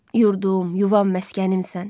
Yurdum, yuvam, məskənimsən.